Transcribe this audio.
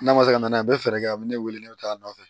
N'a ma se ka na n'a ye a bɛ fɛɛrɛ kɛ a bɛ ne wele ne bɛ taa a nɔfɛ